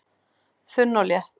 Þunn og létt